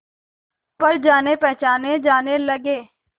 पर जानेपहचाने जाने लगे